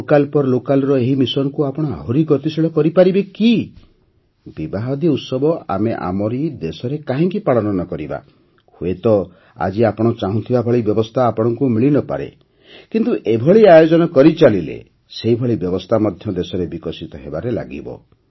vocal for local ର ଏହି ମିଶନ୍କୁ ଆପଣ ଆହୁରି ଗତିଶୀଳ କରିପାରିବେ କି ବିବାହାଦି ଉତ୍ସବ ଆମେ ଆମରି ଦେଶରେ କାହିଁକି ପାଳନ ନ କରିବା ହୁଏତ ଆଜି ଆପଣ ଚାହୁଁଥିବା ଭଳି ବ୍ୟବସ୍ଥା ଆପଣଙ୍କୁ ମିଳି ନ ପାରେ କିନ୍ତୁ ଏଭଳି ଆୟୋଜନ କରିଚାଲିଲେ ସେହିଭଳି ବ୍ୟବସ୍ଥା ମଧ୍ୟ ଦେଶରେ ବିକଶିତ ହେବାରେ ଲାଗିବ